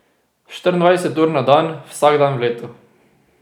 Štiriindvajset ur na dan, vsak dan v letu.